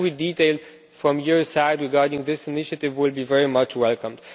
Every detail from your side regarding this initiative will be very much welcomed.